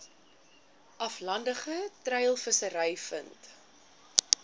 aflandige treilvissery vind